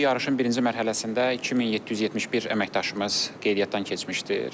Bu yarışın birinci mərhələsində 2771 əməkdaşımız qeydiyyatdan keçmişdir.